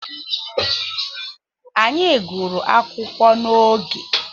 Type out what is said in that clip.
Anyị gụrụ akwụkwọ n'oge.